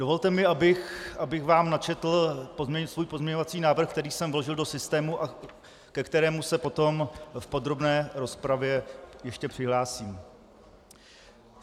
Dovolte mi, abych vám načetl svůj pozměňovací návrh, který jsem vložil do systému a ke kterému se potom v podrobné rozpravě ještě přihlásím.